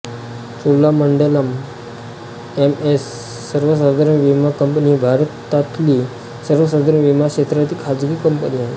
Cholamandalam MS सर्वसाधारण विमा company ही भारतातली सर्वसाधारण विमा क्षेत्रातील खाजगी कंपनी आहे